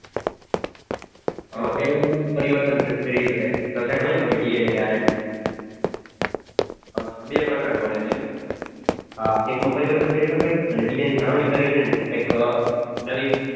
પેલામાં પરિવર્તન કરી શકાય. DNA કે RNA અચ્છા બે પ્રકાર પડે ને એમ ને એકમાંં પરિવર્તન પેરી હકાય અને બીજાની જાણવાની કરીને નવી કઈ